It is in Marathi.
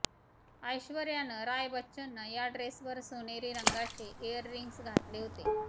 ऐश्वर्यानं राय बच्चननं या ड्रेसवर सोनेरी रंगाचे ईअररिंग्स घातले होते